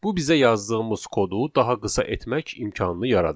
Bu bizə yazdığımız kodu daha qısa etmək imkanını yaradır.